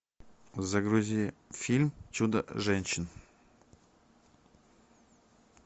загрузи фильм чудо женщина